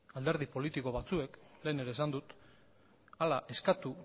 alderdi politiko batzuek lehen ere esan dut hala eskatu